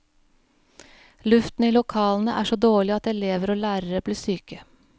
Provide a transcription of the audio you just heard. Luften i lokalene er så dårlig at elever og lærere blir syke.